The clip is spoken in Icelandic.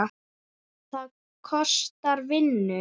Það kostar vinnu!